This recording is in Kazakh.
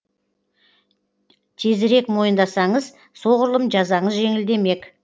тезірек мойындасаңыз соғұрлым жазаңыз жеңілдемек